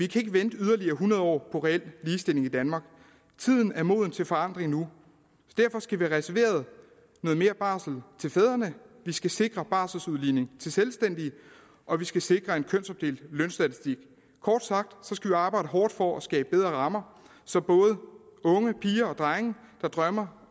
kan vente yderligere hundrede år på reel ligestilling i danmark tiden er moden til forandring nu og derfor skal vi have reserveret noget mere barsel til fædrene vi skal sikre barseludligning til selvstændige og vi skal sikre en kønsopdelt lønstatistik kort sagt skal vi arbejde hårdt for at skabe bedre rammer så både og unge drenge der drømmer